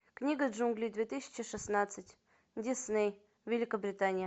книга джунглей две тысячи шестнадцать дисней великобритания